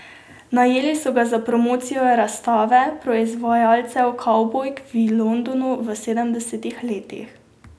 Najeli so ga za promocijo razstave proizvajalcev kavbojk v Londonu v sedemdesetih letih.